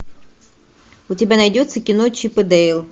у тебя найдется кино чип и дейл